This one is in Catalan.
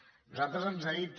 a nosaltres ens ha dit